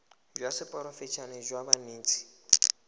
jwa seporofe enale jwa banetshi